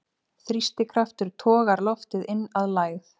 Þrýstikraftur togar loftið inn að lægð.